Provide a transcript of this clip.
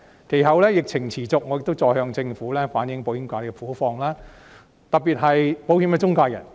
其後疫情持續，我亦再向政府反映保險界的苦況，特別是保險中介人。